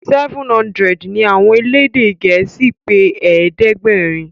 seven hundred ní àwọn elédè gèésì pé ẹ̀ẹ́dẹ̀gbẹ̀rin.